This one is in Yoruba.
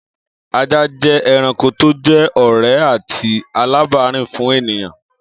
Ajá jẹ́ ẹranko tó jẹ́ ọ̀rẹ́ àti alábàárìn fún ènìyàn